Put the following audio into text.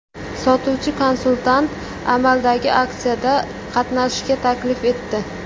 Sotuvchi-konsultant amaldagi aksiyada qatnashishga taklif etdi.